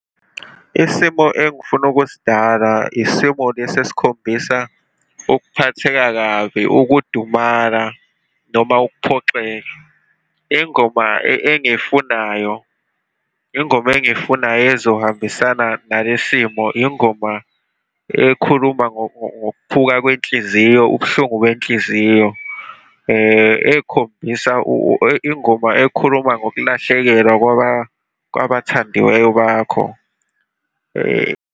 Isimo engifuna ukusidala, isimo lesi esikhombisa ukuphatheka kabi, ukudumala, noma ukuphoxeka. Ingoma engiyifunayo, ingoma engiyifuna ezohambisana nale simo, ingoma ekhuluma ngokuphuka kwenhliziyo, ubuhlungu benhliziyo ekhombisa ingoma ekhuluma ngokulahlekelwa kwaba kwabathandiweyo bakho .